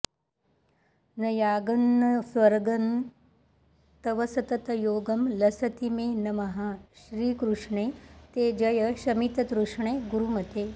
न यागं न स्वर्गं तव सततयोगं लसति मे नमः श्रीकृष्णे ते जय शमिततृष्णे गुरुमते